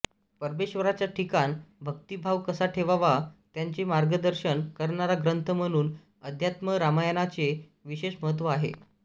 परमेश्वराच्या ठिकाणी भक्तिभाव कसा ठेवावा याचे मार्गदर्शन करणारा ग्रंथ म्हणून अध्यात्म रामायणाचे विशेष महत्त्व आहे